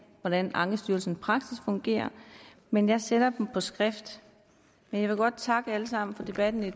hvordan ankestyrelsens praksis fungerer men jeg sender dem på skrift jeg vil godt takke alle sammen for debatten i